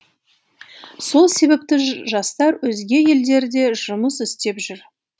сол себепті жастар өзге елдерде жұмыс істеп жүр